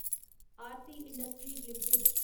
Aarti Industries limited